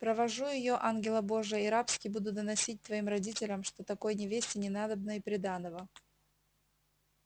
провожу её ангела божия и рабски буду доносить твоим родителям что такой невесте не надобно и приданого